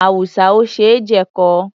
Awùsá ò ṣe jẹ̀kọ.